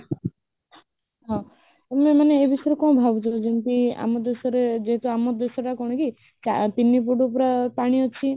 ହଁ ଆମେ ମାନେ ଏଇ ବିଷୟରେ କଣ ଭାବୁଛକି ଯେମିତି ଆମ ଦେଶରେ ଯେହେତୁ ଆମ ଦେଶଟା କଣ କି ତିନି foot ପୁରା ପାଣି ଅଛି